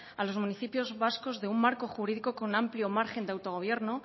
a los municipios vascos de un marco jurídico con amplio margen de autogobierno